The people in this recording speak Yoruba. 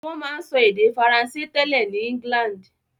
Wọ́n máa ń sọ èdè Faransé tẹ́lẹ̀ ní England